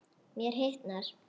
Mér hitnar.